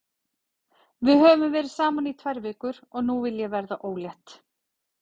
Við höfum verið saman í tvær vikur og nú vil ég verða ólétt.